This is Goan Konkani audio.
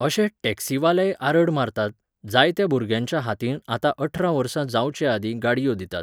अशे टॅक्शीवालेय आरड मारतात, जायत्या भुरग्यांच्या हातीन आतां अठरा वर्सां जावचेआदींत गाडयो दितात.